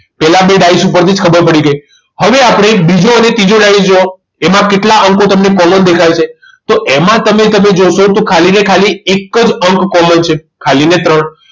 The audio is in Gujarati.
પેલા બે ડાયસ ઉપરથી જ ખબર પડી ગઈ હવે આપણે બીજો અને ત્રીજો ડાયસ જોવો એમાં કેટલા અંકો તમને common દેખાય છે તો એમાં તમે કદાચ જોશો કે ખાલી ને ખાલી એક જ અંક common છે ખાલી ને ત્રણ